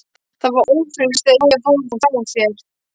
Ég var ófrísk þegar ég fór frá þér.